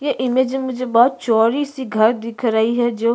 ये इमेज में मुझे बहुत चोड़ी सी घर दिख रही है जो--